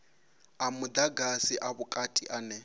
a mudagasi a vhukati ane